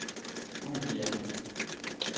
Gouvia